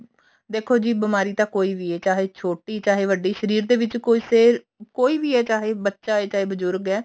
ਦੇਖੋ ਜੀ ਬਿਮਾਰੀ ਤਾਂ ਕੋਈ ਵੀ ਹੈ ਛੋਟੀ ਚਾਹੇ ਵੱਡੀ ਸ਼ਰੀਰ ਦੇ ਵਿੱਚ ਕੁਛ ਇਹ ਕੋਈ ਵੀ ਆ ਚਾਹੇ ਬੱਚਾ ਹੈ ਚਾਹੇ ਬਜੁਰਗ ਹੈ